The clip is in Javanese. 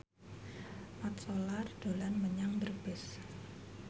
Mat Solar dolan menyang Brebes